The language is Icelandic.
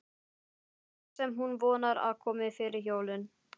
franka sem hún vonar að komi fyrir jólin.